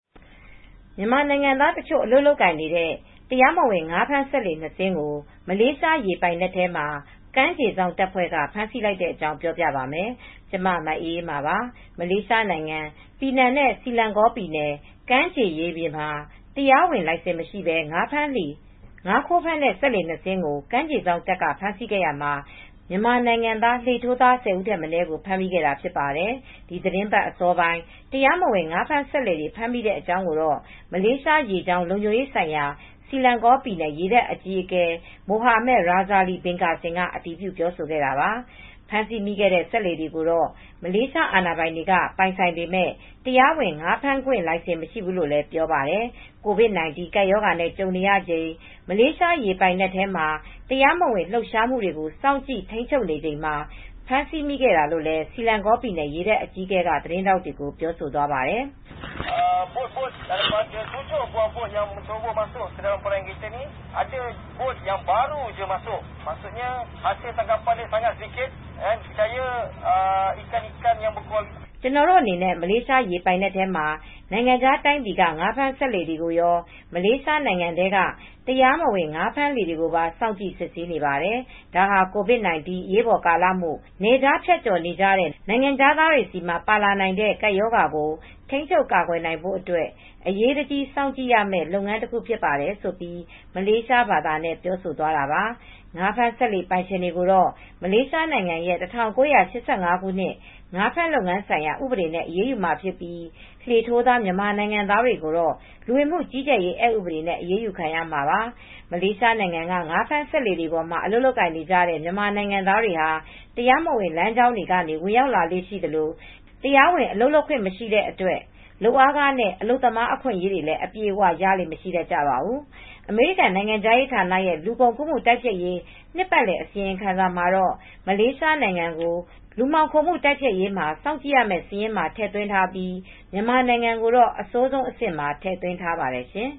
မြန်မာနိုင်ငံသားတချို့ အလုပ်လုပ်နေတဲ့ တရားမဝင် ငါးဖမ်းစက်လှေ နှစ်စင်းကို မလေးရေပိုင်နက်ထဲမှာ ကမ်းခြေစောင့်တပ်ဖွဲ့က ဖမ်းဆီးလိုက်တဲ့အကြောင်း ပြောပြပါမယ်။ ဗွီအိုအေမြန်မာပိုင်းသတင်းထောက် မအေးအေးမာက သတင်းပေးပို့ထားပါတယ်။ မလေးရှားနိုင်ငံ ပီနန်နဲ့ဆီလင်ဂေါပြည်နယ် ကမ်းလွန်ရေပြင်မှာ တရားဝင် လိုင်စင်မရှိဘဲ ငါးခိုးဖမ်းတဲ့ စက်လှေ နှစ်စင်းကို ကမ်းခြေစောင့်တပ်က ဖမ်းဆီးခဲ့ရာမှာ မြန်မာနိုင်ငံသား လှေထိုးသား ၁၀ ဦးထက်မနည်းကိုပါ ဖမ်းဆီးမိခဲ့တာ ဖြစ်ပါတယ်။ ဒီသီတင်းပတ်အစောပိုင်း တရားမဝင် ငါးဖမ်းစက်လှေတွေ ဖမ်းဆီးမိတဲ့အကြောင်းကိုတော့ မးလေးရှားရေကြောင်း လုံခြုံရေးဆိုင်ရာ ဆီလင်ဂေါ ပြည်နယ် ရေတပ်အကြီးအကဲ Mohammad Rosli bin Kassim မိုဟာမက် ရာဇာလီ ဘင်ကာစင် က အတည်ပြု ပြောဆိုခဲ့တာပါ။ ဖမ်းဆီးမိခဲ့တဲ့ စက်လှေတွေကိုတော့ မလေးရှားနိုင်ငံသားတွေ ပိုင်ဆိုင်ပေမဲ့ တရားဝင် ငါးဖမ်းခွင့်လိုင်စင် မရှိဘူးလို့လည်း ပြောပါတယ်။ COVID-19 ကပ်ရောဂါနဲ့ ကြုံနေရချိန် မလေးရှားရေပိုင်နက်မှာ တရားမဝင် လှုပ်ရှားမှုတွေကို စောင့်ကြည့်ထိန်းချုပ်နေချိန်မှာ ဖမ်းဆီးမိခဲ့တာလို့လည်း ဆီလင်ဂေါ ပြည်နယ် ရေတပ်အကြီးအကဲက သတင်းထောက်တွေကို ပြောဆိုသွားပါတယ်။ "ကျနော်တို့အနေနဲ့ မလေးရှားရေပိုင်နက်ထဲမှာ နိုင်ငံခြားတိုင်းပြည်က ငါးဖမ်းစက်လှေတွေရော မလေးရှားနိုင်ငံထဲက တရားမဝင်ငါးဖမ်းလှေတွေကိုပါ စောင့်ကြည့်စစ်ဆေးနေပါတယ်။ ဒါဟာ COVID 19 အရေးပေါ်ကာလမို့ နယ်ခြားဖြတ်ကျော်နေကြတဲ့ နိုင်ငံခြားသားတွေမှာ ပါလာနိုင်တဲ့ ကပ်ရောဂါပိုးကို ထိန်းချုပ်ကာကွယ်နိုင်ဖို့အတွက် အရေးတကြီးစောင့်ကြည့်ရမယ့်လုပ်ငန်း တခုဖြစ်ပါတယ်။" ဆိုပြီး မလေးဘာသာနဲ့ ပြောဆိုသွားတာပါ။ ငါးဖမ်း စက်လှေပိုင်ရှင်တွေကိုတော့ မလေးရှားနိုင်ငံရဲ့ ၁၉၈၅ ငါးဖမ်းလုပ်ငန်းဆိုင်ရာ ဥပဒေနဲ့အရေးယူမှာဖြစ်ပြီး လှေထိုးသား မြန်မာနိုင်ငံသားတွေကိုတော့ လူဝင်မှုကြီးကြပ်ရေး အက်ဥပဒေနဲ့ အရေးယူခံကြရမှာပါ။ မလေးရှားနိုင်ငံက ငါးဖမ်းစက်လှေတွေမှာ အလုပ်လုပ်ကိုင်နေကြတဲ့ မြန်မာနိုင်ငံသားတွေဟာ တရားမဝင် လမ်းကြောင်းတွေကနေ ဝင်ရောက်လာလေ့ ရှိကြသလို တရားဝင် အလုပ်လုပ်ခွင့်မရှိတဲ့အတွက် လုပ်အားခနဲ့ အလုပ်သမား အခွင့်အရေးတွေ အပြည့်အ၀ ရလေ့မရှိတတ်ကြပါဘူး။ အမေရိကန်နိုင်ငံခြားရေးဌာနရဲ့ လူကုန်ကူးမှုတိုက်ဖျက်ရေး နှစ်ပတ်လည် အစီရင်ခံစာမှာတော့ မလေးရှားနိုင်ငံကို လူမှောင်ခိုမှု တိုက်ဖျက်ရေးမှာ စောင့်ကြည့်ရမယ့် စာရင်းမှာ ထည့်သွင်းထားပြီး မြန်မာနိုင်ငံကိုတော့ အဆိုးဆုံးအဆင့်မှာ ထည့်သွင်းထားပါတယ်ရှင်